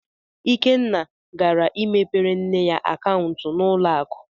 Ikenna gara imepere nne ya akaụntụ na ụlọ akụ.